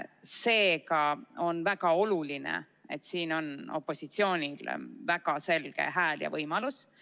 Seega on väga oluline, et siin on opositsioonil väga selge hääl ja võimalus.